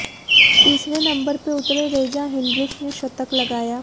तीसरे नंबर पर उतरे रेजा हेंड्रिक्स ने शतक लगाया